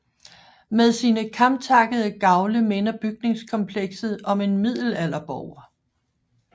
Med sine kamtakkede gavle minder bygningskomplekset om en middelalderborg